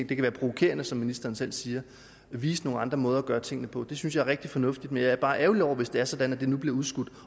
kan være provokerende som ministeren selv siger at vise nogle andre måder at gøre tingene på det synes jeg er rigtig fornuftigt men jeg er bare ærgerlig over hvis det er sådan at det nu bliver udskudt